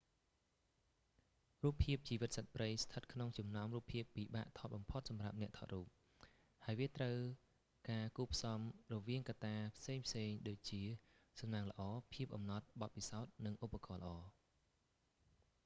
រូបភាពជីវិតសត្វព្រៃស្ថិតក្នុងចំណោមរូបភាពពិបាកថតបំផុតសម្រាប់អ្នកថតរូប ហើយវាត្រូវការការគួបផ្សំរវាងកត្តាផ្សេងៗដូចជា សំណាងល្អ ភាពអំណត់ បទពិសោធន៍ និងឧបករណ៍ល្អ